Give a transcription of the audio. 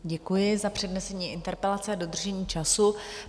Děkuji za přednesení interpelace a dodržení času.